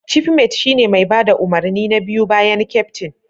Cifmet shine mai bada umarni na biyu bayan keftin.